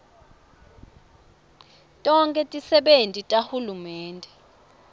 tonkhe tisebenti tahulumende